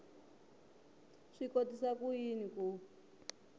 swi kotisa ku yini ku